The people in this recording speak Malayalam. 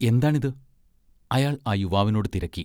എന്താണിത്? അയാൾ ആ യുവാവിനോട് തിരക്കി.